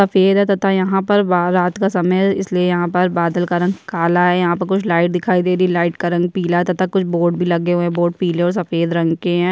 सफेद है तथा यहाँ पर रात का समय है इसलिए यहाँ पर बादल का रंग काला है यहाँ पर कुछ लाइट दिखाई दे रही है लाइट का रंग पिला है तथा कुछ बोर्ड भी लगे हुए है बोर्ड का रंग पीला और सफ़ेद रंग के हैं।